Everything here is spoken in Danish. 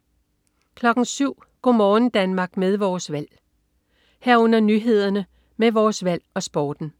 07.00 Go' morgen Danmark med Vores Valg 07.00 Nyhederne med Vores Valg og Sporten